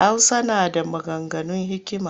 Hausa na da maganganun hikima